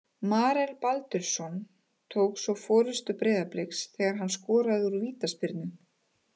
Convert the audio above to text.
Marel Baldvinsson jók svo forystu Breiðabliks þegar hann skoraði úr vítaspyrnu.